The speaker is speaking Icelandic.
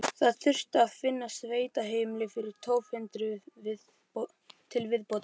Það þurfti að finna sveitaheimili fyrir tólf hundruð til viðbótar.